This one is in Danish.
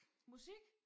Musik?